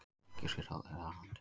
Egypskir ráðherrar handteknir